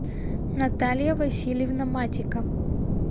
наталья васильевна матика